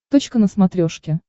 точка на смотрешке